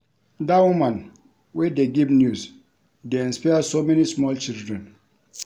Dat woman wey dey give news dey inspire so many small children